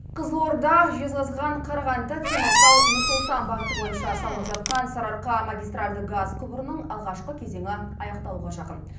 қызылорда жезқазған қарағанды темуртау нұр сұлтан бағыты бойынша салынып жатқан сарыарқа магистральді газ құбырының алғашқы кезеңі аяқталуға жақын